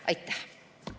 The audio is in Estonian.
Aitäh!